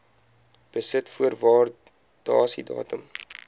besit voor waardasiedatum